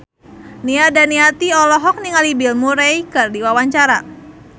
Nia Daniati olohok ningali Bill Murray keur diwawancara